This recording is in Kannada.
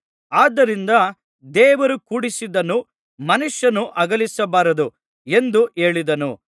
ಆದ್ದರಿಂದ ದೇವರು ಕೂಡಿಸಿದ್ದನ್ನು ಮನುಷ್ಯನು ಅಗಲಿಸಬಾರದು ಎಂದು ಹೇಳಿದನು